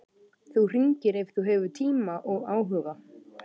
Þú hringir ef þú hefur tíma og áhuga.